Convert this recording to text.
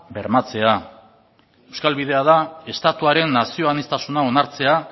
bermatzea euskal bidea da estatuaren nazio aniztasuna onartzea